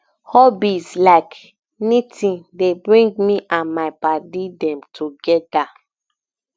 hobbies like knitting dey bring me and my paddy dem togeda